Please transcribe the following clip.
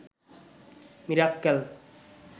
Mirakkel